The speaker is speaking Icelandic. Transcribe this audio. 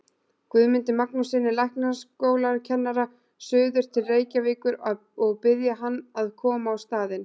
Guðmundi Magnússyni læknaskólakennara suður til Reykjavíkur og biðja hann að koma á staðinn.